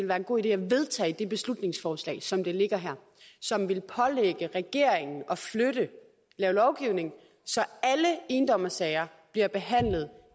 være en god idé at vedtage det beslutningsforslag som det ligger her som vil pålægge regeringen at lave lovgivning så alle endommersager bliver behandlet